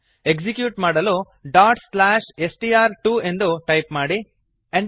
execute ಮಾಡಲು str2ಡಾಟ್ slash S T R two ಎಂದು ಟೈಪ್ ಮಾಡಿ enter ಅನ್ನು ಒತ್ತಿ